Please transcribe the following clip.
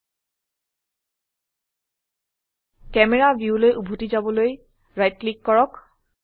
camera ভিউলৈ উভতি যাবলৈ ৰাইট ক্লিক কৰক